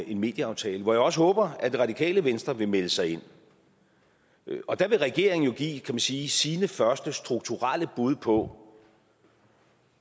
en medieaftale hvor jeg også håber at det radikale venstre vil melde sig ind der vil regeringen jo give kan man sige sine første strukturelle bud på